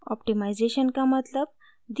optimization का मतलब